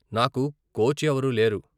నాకు కోచ్ ఎవరూ లేరు.